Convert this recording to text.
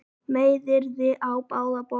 Meiðyrði á báða bóga